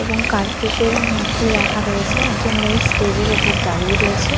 এবং কার্তিকের মূর্তি রাখা রয়েছে। একজন মেয়ে স্টেজ -এর ওপর দাঁড়িয়ে রয়েছে।